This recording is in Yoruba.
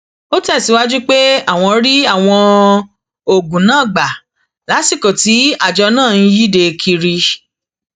ó tẹsíwájú pé àwọn rí àwọn oògùn náà gbà lásìkò tí àjọ náà ń yíde kiri